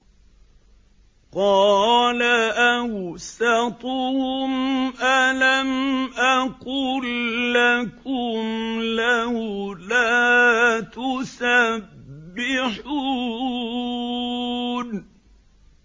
قَالَ أَوْسَطُهُمْ أَلَمْ أَقُل لَّكُمْ لَوْلَا تُسَبِّحُونَ